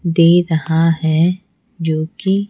दे रहा है जो कि--